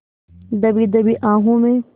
दबी दबी आहों में